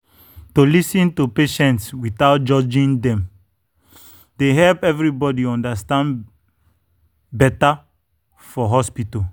to lis ten to patients without judging dem dey help everybody understand better for hospital.